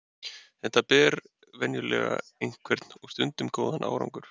Þetta ber venjulega einhvern og stundum góðan árangur.